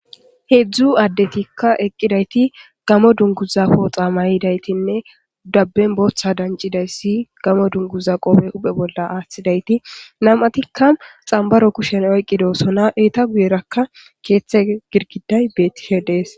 heedzdzu addetikka eqqidayti gamo dunguza pooxa mayidaytinne dabben booththa dancidayssi gamo dunguza qofe huphe bolla aaththidayti nam7atikka xambaro kushen oyqidoosona iita guyerakka keeththe girgiday beettishe dees